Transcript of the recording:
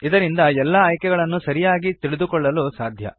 ಇದರಿಂದ ಎಲ್ಲ ಆಯ್ಕೆಗಳನ್ನು ಸರಿಯಾಗಿ ತಿಳಿದುಕೊಳ್ಳಲು ಸಾಧ್ಯ